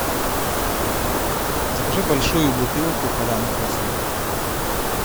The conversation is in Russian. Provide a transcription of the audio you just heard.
закажи большую бутылку поляны квасовой вода